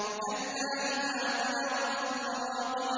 كَلَّا إِذَا بَلَغَتِ التَّرَاقِيَ